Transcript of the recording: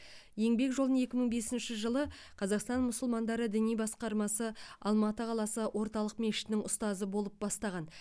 еңбек жолын екі мың бесінші жылы қазақстан мұсылмандары діни басқармасы алматы қаласы орталық мешітінің ұстазы болып бастаған